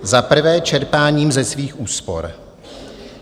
Za prvé čerpáním ze svých úspor.